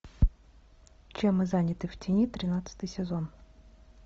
чем мы заняты в тени тринадцатый сезон